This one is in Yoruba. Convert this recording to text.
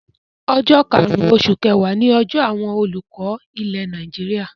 Ọjọ́ karùn-ún oṣù kẹwàá ni ọjọ́ àwọn olùkọ́ ilẹ̀ Nàìjíríà.